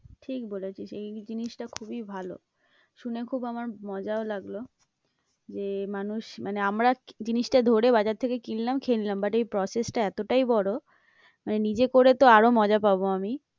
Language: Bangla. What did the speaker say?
ঠিক বলেছিস, এই জিনিসটা খুবই ভালো শুনে খুব আমার মজাও লাগলো যে মানুষ মানে আমরা জিনিসটা ধরে বাজার থেকে কিনলাম খেয়ে নিলাম but এই process টা এতটাই বড়ো মানে নিজে করে তো আরও মজা পাবো আমি।